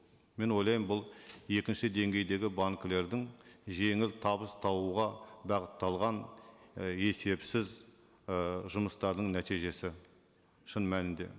мен ойлаймын бұл екінші деңгейдегі банкілердің жеңіл табыс табуға бағытталған і есепсіз ыыы жұмыстардың нәтижесі шын мәнінде